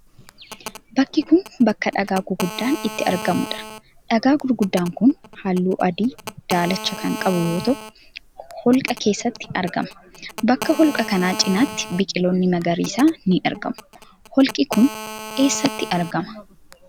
Bakki kun, bakka dhagaa guguddaan itti argamuu dha. Dhagaa guguddaan kun, haalluu adii daalacha kan qabu yoo ta'u, holqa keessatti argama. Bakka holqaa kana cinaatti biqiloonni magariisni ni argamu. Holqi kun, eesatti argama?